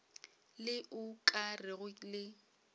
le o ka rego le